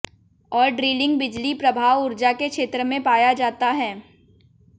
और ड्रिलिंग बिजली प्रभाव ऊर्जा के क्षेत्र में पाया जाता है